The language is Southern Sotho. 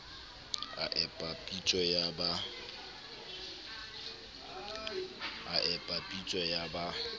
a epa pitso ya ba